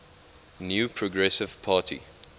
new progressive party